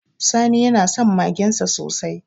Sani yana son magensa sosai